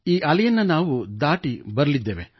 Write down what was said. ಈ ಅಲೆಯನ್ನೂ ನಾವು ದಾಟಿ ಬರಲಿದ್ದೇವೆ